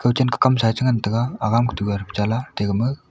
kan chen kamsa ya cha ngan taiga ga dugam cha ma.